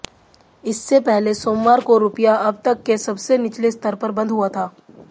इससे पहले सोमवार को रुपया अब तक के सबसे निचले स्तर पर बंद हुआ था